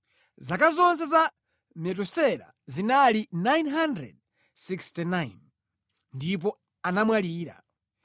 Zaka zonse za Metusela zinali 969, ndipo anamwalira.